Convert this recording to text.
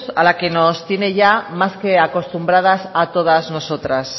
a la que nos tiene más que acostumbradas a todas nosotras